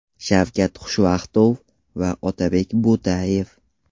Shavkat Xushvaqtov va Otabek Bo‘tayev.